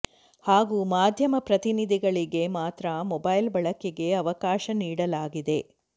ಹಾಗೂ ಮಾಧ್ಯಮ ಪ್ರತಿನಿಧಿಗಳಿಗೆ ಮಾತ್ರ ಮೊಬೈಲ್ ಬಳಕೆಗೆ ಅವಕಾಶ ನೀಡಲಾಗಿದೆ